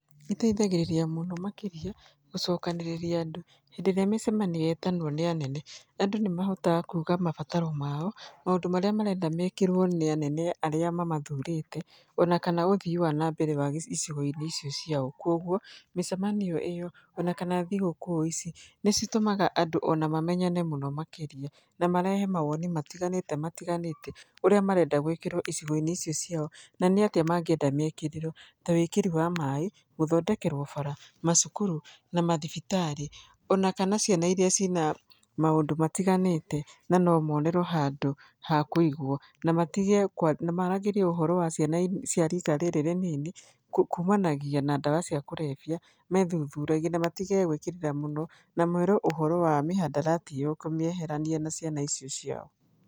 Ĩteithagĩrĩria mũno makĩria gũcokanĩrĩria andũ, hĩndĩ ĩrĩa mĩcemanio yetanwo nĩ anene, andũ nĩ mahotaga kuga mabataro mao, maũndũ marĩa marenda mekĩrwo nĩ anene arĩa mamathurĩte ona kana ũthii wa nambere wa icigo-inĩ icio ciao. Koguo mĩcemanio ĩyo ona kana thigũkũ-ici nĩ citũmaga andũ ona mamenyane mũno makĩria na marehe mawoni matĩganĩte matĩganĩte ũrĩa marenda gwĩkĩrwo icigo-inĩ icio ciao, na nĩ atĩa mangĩenda mekĩrwo, ta wĩkĩri wa maĩ, gũthondekerwo bara, macukuru na mathibitarĩ, ona kana ciana iria ciĩna maũndũ matĩganĩte na nomonerwo handũ ha kũĩgwo. Na maragĩrie ũhoro wa ciana cia rika rĩrĩ rĩnini kumanagia na ndawa cia kũrevia methuthuragie na matige gwĩkĩrĩra mũno na merwo ũhoro wa mĩhandarati ĩyo kũmĩeherania na ciana icio ciao.